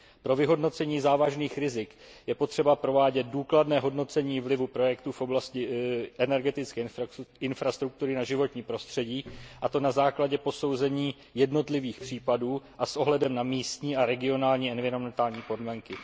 Pro vyhodnocení závažných rizik je potřeba provádět důkladné hodnocení vlivu projektů v oblasti energetické infrastruktury na životní prostředí, a to na základě posouzení jednotlivých případů a s ohledem na místní a regionální environmentální podmínky.